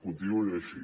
continuïn així